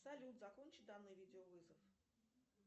салют закончи данный видео вызов